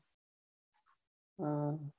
હા